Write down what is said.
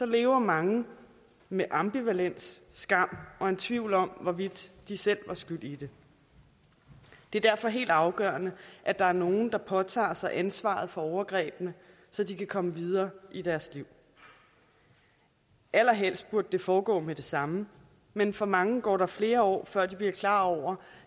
lever mange med ambivalent skam og en tvivl om hvorvidt de selv var skyld i det det er derfor helt afgørende at der er nogen der påtager sig ansvaret for overgrebene så de kan komme videre i deres liv allerhelst burde det foregå med det samme men for mange går der flere år før de bliver klar over